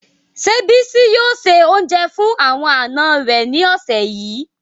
Se Bisi yoo se ounje fun awon ana re ni ose yii